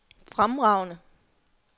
fremragende